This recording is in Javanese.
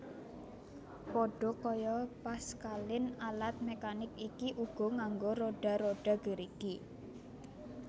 Pada kaya Pascaline alat mekanik iki uga nganggo roda roda gerigi